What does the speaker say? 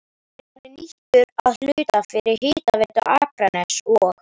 Hann er nú nýttur að hluta fyrir Hitaveitu Akraness og